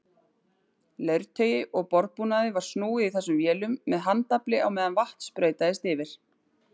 Leirtaui og borðbúnaði var snúið í þessum vélum með handafli á meðan vatn sprautaðist yfir.